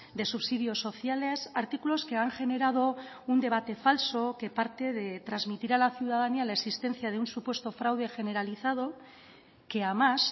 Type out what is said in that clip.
de subsidios sociales artículos que han generado un debate falso que parte de transmitir a la ciudadanía la existencia de un supuesto fraude generalizado que a más